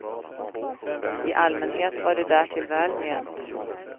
I allmänhet var det därtill väl ment.